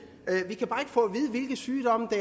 hvilke sygdomme det